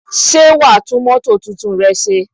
Ṣé wa tún mótò tuntun rẹ ṣe?